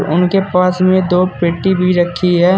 उनके पास में दो मिट्टी भी रखी है।